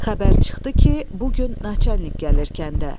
Xəbər çıxdı ki, bu gün naçalnik gəlir kəndə.